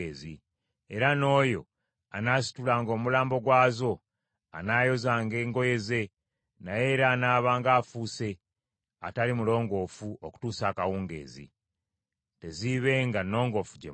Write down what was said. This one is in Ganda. Era n’oyo anaasitulanga omulambo gwazo anaayozanga engoye ze; naye era anaabanga afuuse atali mulongoofu okutuusa akawungeezi. Teziibenga nnongoofu gye muli.